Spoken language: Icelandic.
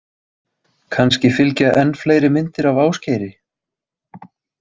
Kannski fylgja enn fleiri myndir af Ásgeiri.